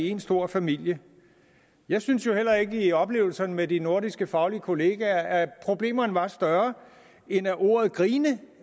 én stor familie jeg synes jo heller ikke i oplevelserne med de nordiske faglige kollegaer at problemerne var større end at ordet grine